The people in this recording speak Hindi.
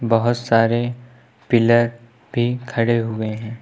बहुत सारे पिलर भी खड़े हुए हैं।